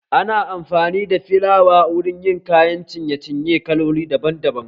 Ana amfani da filawa wurin yin kayan ciye ciye kalloli daban daban